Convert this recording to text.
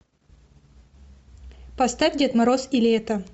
поставь дед мороз и лето